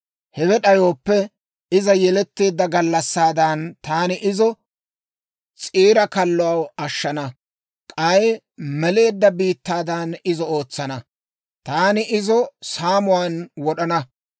Hewe d'ayooppe, iza yeletteedda gallassaadan, taani izo s'iira kallo ashshana. K'ay meleedda biittaadan izo ootsana; taani izo saamuwaan wod'ana.